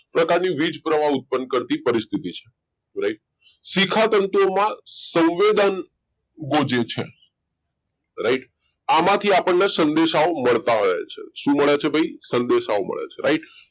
પ્રકારની વીજ પ્રવાહ ઉત્પન્ન કરતી પરિસ્થિતિ છે right શિખા તંતુમાં સંવેદન ગુજે છે right આમાંથી આપણને સંદેશાઓ મળતા રહે છે શું મળે છે ભાઈ સંદેશાઓ મળે છે right